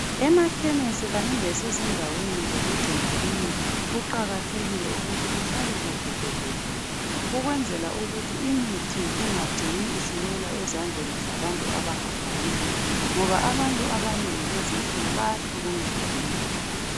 Emachemis Kanye lezindaweni ezokugcina imithi kuqakathekile ukuthi kuhlale kuvikile ukwenzela ukuthi imithi ingacini isiwela ezandleni zabantu abamgafanele ngoba abantu abanengi lezi insuku bayahlukumeza imithi.